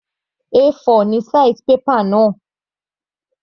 A4 ni size paper náà.